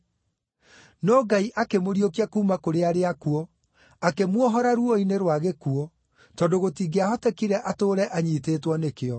No Ngai akĩmũriũkia kuuma kũrĩ arĩa akuũ, akĩmuohora ruo-inĩ rwa gĩkuũ, tondũ gũtingĩahotekire atũũre anyiitĩtwo nĩkĩo.